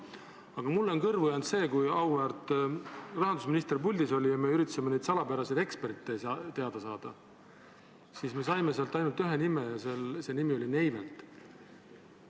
Aga mulle jäi kõrvu see, et kui auväärt rahandusminister puldis oli ja me üritasime neid salapäraseid eksperte teada saada, siis me kuulsime ainult ühte nime ja see nimi oli Neivelt.